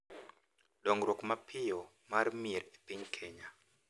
Dongruok mapiyo mar mier e piny Kenya,